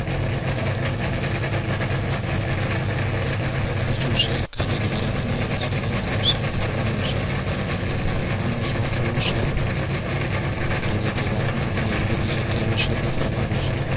બીજુ છે ખાલી ગુજરાતની inside અને outside ફરવાનું છે. ફરવાનો શોખ બવ છે. એટલે જે કેદારનાથ અને એવી બધી જગ્યાઓ છે ત્યાં ફરવાનો છે.